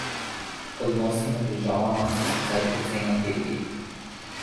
Odnosi med državama so sicer precej napeti.